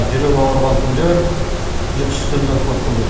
жүрек ауырған күндер ұйқысыз түндер көп болды